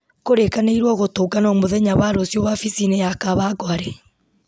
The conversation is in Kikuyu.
kũrĩkanĩirwo gũtũngano mũthenya wa rũciũ wabici-inĩ ya kawangware